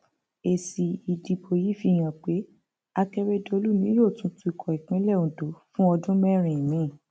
èsì ìdìbò yìí fi hàn pé akérèdọlù ni yóò tún tukọ ìpínlẹ ondo fún ọdún mẹrin míín